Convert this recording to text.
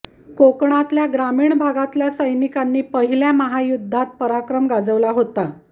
कोकणातल्या ग्रामीण भागातल्या सैनिकांनी पहिल्या महायुद्धात पराक्रम गाजवला होता